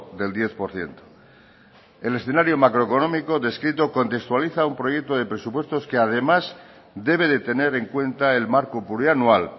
del diez por ciento el escenario macroeconómico descrito contextualiza un proyecto de presupuestos que además debe de tener en cuenta el marco plurianual